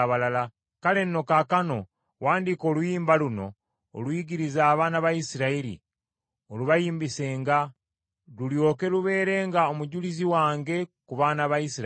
“Kale nno kaakano wandiika oluyimba luno oluyigirize abaana ba Isirayiri, olubayimbisenga, lulyoke lubeerenga omujulizi wange ku baana ba Isirayiri.